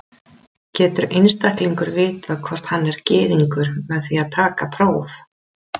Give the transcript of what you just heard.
Getur einstaklingur vitað hvort hann er Gyðingur með því að taka próf?